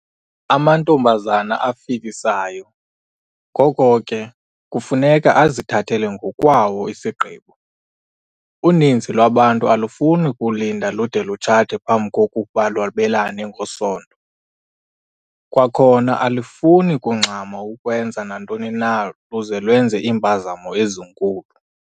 Amantombazana afikisayo, ngoko ke, kufuneka azithathele ngokwawo isigqibo. Uninzi lwabantu alufuni kulinda lude lutshate phambi kokuba lwabelane ngesondo. Kwakhona alufuni kungxama ukwenza nantoni na luze lwenze iimpazamo ezinkulu.